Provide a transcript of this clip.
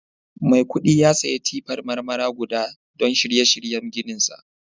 Mai kudi ya saya tippar Marmara guda don shirye shiryen ginsa